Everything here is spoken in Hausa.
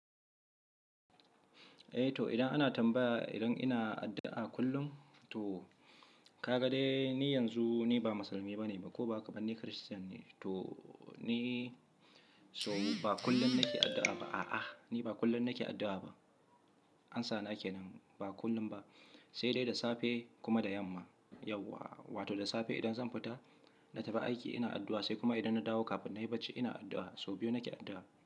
Eh to idan ana tambaya idan ina addu'a kullum? To ka ga dai ni yanzu ni ba musulmi bane ba ko ba, ni Christian ne. To ni so ba kullum nake addu'a ba, a'a, ni ba kullum nake addu'a ba. Ansa nake nan, ba kullum ba. Sai dai da safe kuma da yamma, yauwa. Wato da safe idan zan fita na tafi aiki ina addu'a, sai kuma idan na dawo kafin na yi bacci ina addu'a. So biyu nake addu'a.